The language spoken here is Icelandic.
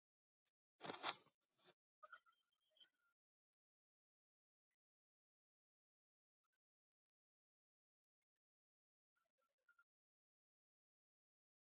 Og nú voru það hnefar og glímutök sem réðu ferðinni.